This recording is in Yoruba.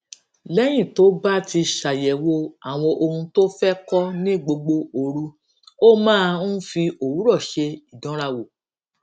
léyìn tó bá ti ṣàyèwò àwọn ohun tó fé kó ní gbogbo òru ó máa ń fi òwúrò ṣe ìdánrawò